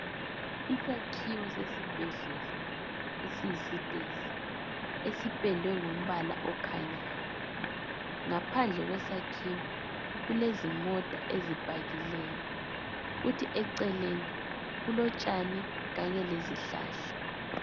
Isakhiwo sesibhedlela esiyisitezi, esipendwe ngombala okhanyayo. Ngaphandle kwesakhiwo kulezimota eziphakileyo, kuthi eceleni kulotshani kanye lezihlahla.